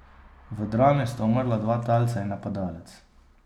V drami sta umrla dva talca in napadalec.